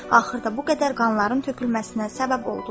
Axırda bu qədər qanların tökülməsinə səbəb oldular.